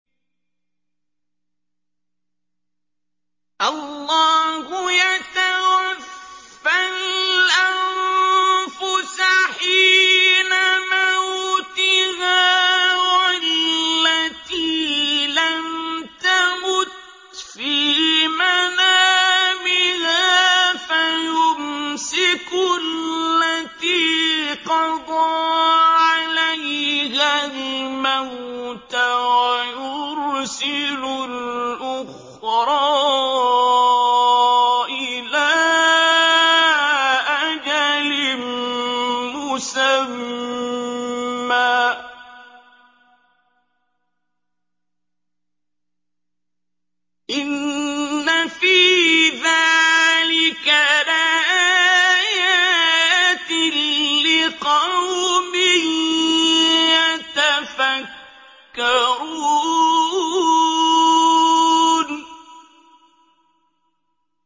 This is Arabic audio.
اللَّهُ يَتَوَفَّى الْأَنفُسَ حِينَ مَوْتِهَا وَالَّتِي لَمْ تَمُتْ فِي مَنَامِهَا ۖ فَيُمْسِكُ الَّتِي قَضَىٰ عَلَيْهَا الْمَوْتَ وَيُرْسِلُ الْأُخْرَىٰ إِلَىٰ أَجَلٍ مُّسَمًّى ۚ إِنَّ فِي ذَٰلِكَ لَآيَاتٍ لِّقَوْمٍ يَتَفَكَّرُونَ